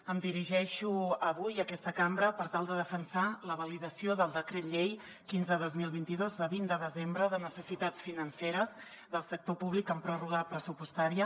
em dirigeixo avui a aquesta cambra per tal de defensar la validació del decret llei quinze dos mil vint dos de vint de desembre de necessitats financeres del sector públic en pròrroga pressupostària